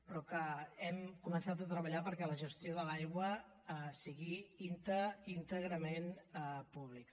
però que hem començat a treballar perquè la gestió de l’aigua sigui íntegrament pública